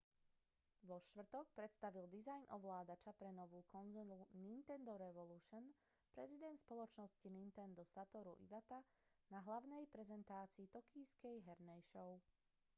vo štvrtok predstavil dizajn ovládača pre novú konzolu nintendo revolution prezident spoločnosti nintendo satoru iwata na hlavnej prezentácii tokijskej hernej show